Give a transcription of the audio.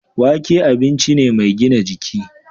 Wake abinci ne mai gina jiki.